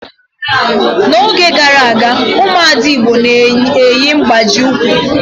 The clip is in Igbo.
N'oge gara aga, ụmụ ada igbo na-eyi mgbaji ụkwụ